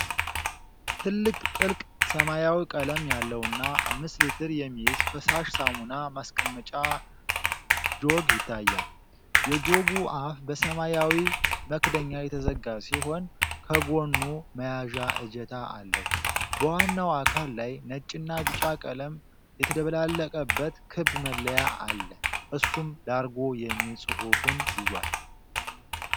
ትልቅ ጥልቅ ሰማያዊ ቀለም ያለውና አምስት ሊትር የሚይዝ ፈሳሽ ሳሙና ማስቀመጫ ጆግ ይታያል። የጆጉ አፍ በሰማያዊ መክደኛ የተዘጋ ሲሆን፤ ከጎኑ መያዣ እጀታ አለው። በዋናው አካል ላይ ነጭና ቢጫ ቀለም የተደባለቀበት ክብ መለያ አለ፤ እሱም “ላርጎ” የሚል ጽሑፍን ይዟል።